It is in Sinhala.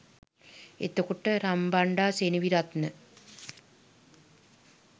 එතකොට රන්බණ්ඩා සෙනවිරත්න